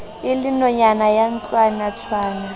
e le nonyana ya ntlwanatshwana